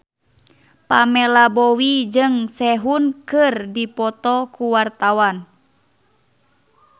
Pamela Bowie jeung Sehun keur dipoto ku wartawan